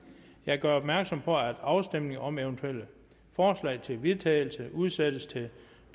jeg gør opmærksom på at afstemning om eventuelle forslag til vedtagelse udsættes til